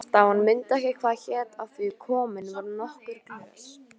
Hálfdán mundi ekki hvað hét af því komin voru nokkur glös.